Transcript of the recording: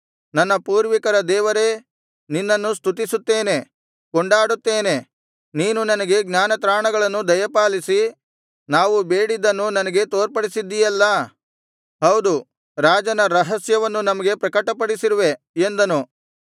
ನನ್ನ ಪೂರ್ವಿಕರ ದೇವರೇ ನಿನ್ನನ್ನು ಸ್ತುತಿಸುತ್ತೇನೆ ಕೊಂಡಾಡುತ್ತೇನೆ ನೀನು ನನಗೆ ಜ್ಞಾನತ್ರಾಣಗಳನ್ನು ದಯಪಾಲಿಸಿ ನಾವು ಬೇಡಿದ್ದನ್ನು ನನಗೆ ತೋರ್ಪಡಿಸಿದ್ದಿಯಲ್ಲಾ ಹೌದು ರಾಜನ ರಹಸ್ಯವನ್ನು ನಮಗೆ ಪ್ರಕಟಪಡಿಸಿರುವೆ ಎಂದನು